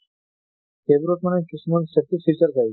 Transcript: সেইবোৰত মানে কিছুমান